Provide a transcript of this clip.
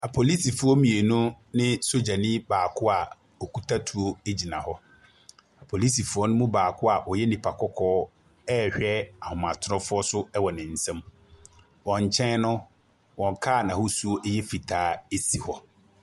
Apolisifoɔ mmienu ne sodierni baaako a okuta tuo gyina hɔ. Polisifo no mu baako a ɔyɛ nipa kɔkɔɔ rehwɛ ahomatorofoɔ so wɔ ne nsam. Wɔn nkyɛn no, car n'ahosu yɛ fitaa si hɔ.